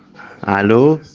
алло